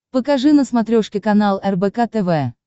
покажи на смотрешке канал рбк тв